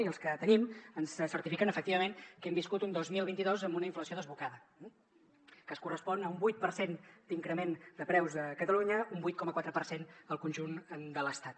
i els que tenim ens certifiquen efectivament que hem viscut un dos mil vint dos amb una inflació desbocada que es correspon a un vuit per cent d’increment de preus a catalunya un vuit coma quatre per cent al conjunt de l’estat